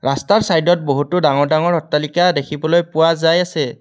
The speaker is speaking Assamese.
ৰাস্তাৰ চাইডত বহুতো ডাঙৰ ডাঙৰ অট্টালিকা দেখিবলৈ পোৱা যায় আছে।